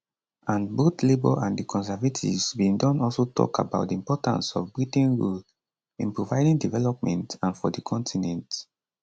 and both labour and di conservatives bin don also tok about di importance of britain role in providing development and for di continent